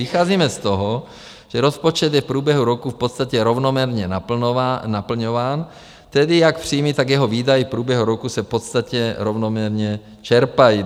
Vycházíme z toho, že rozpočet je v průběhu roku v podstatě rovnoměrně naplňován, tedy jak příjmy, tak jeho výdaje v průběhu roku se v podstatě rovnoměrně čerpají.